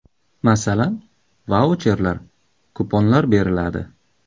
Masalan, vaucherlar, kuponlar beriladi.